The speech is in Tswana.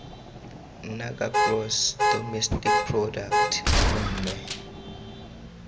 naga gross domestic product mme